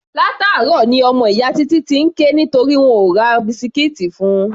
Látàárọ̀ ní ọmọ ìyá Títí ti ń ké nítorí wọn ò ra bisikíìtì fun.